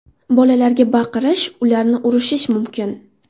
Bolalarga baqirish, ularni urishish mumkin.